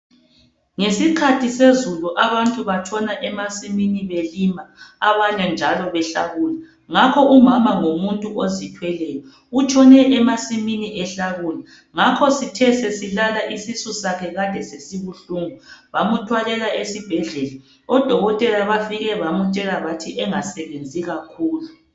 Ngesikhathi sezulu abantu batshona emasimini belima. Abanye njalo behlakula ngakho umama ngumuntu ozithweleyo utholwe emasimini ehlakula ngakho sithe eselala isisu sakhe kade sesibuhlungu bamuthwalela esibhedlela odokotela bafike bamtshela bathi engasebenzi kakhulu.